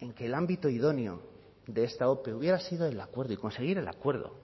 en que el ámbito idóneo de esta ope hubiera sido el acuerdo y conseguir el acuerdo